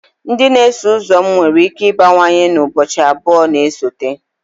Ndị na-eso ụzọ m nwere ike ịbawanye n'ime ụbọchị abụọ na-esote?